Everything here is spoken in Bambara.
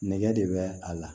Nɛgɛ de bɛ a la